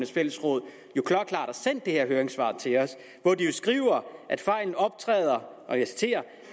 fællesråd jo har sendt det her høringssvar til os og de skriver klokkeklart at fejlen optræder og jeg citerer